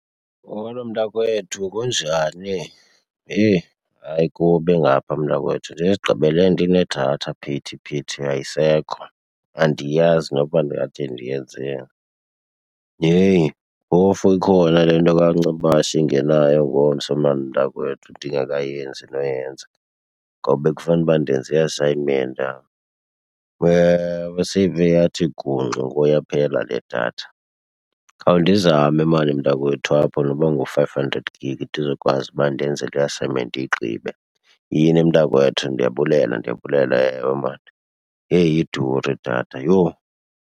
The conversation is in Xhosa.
Molo, mntakwethu. Kunjani? Heyi hayi kubi ngapha, mntakwethu. Ndizigqibele ndinedatha phithi phithi ayisekho, andiyazi noba ndingathi ndiyenzeni. Heyi, phofu ikhona le nto kaNcebashe ingenayo ngomso maan mntakwethu ndingekayenzi noyenza, ngoba bekufanuba ndenze i-assignment yam. Seyive yathi gungxu yaphela le datha. Khawundizame maan mntakwethu apho noba ngu-five hundred gig ndizokwazi uba ndenze le assignment ndiyigqibe. Yini mntakwethu, ndiyabulela, ndiyabulela. Ewe, maan. Yeyi, iduri idatha! Yho!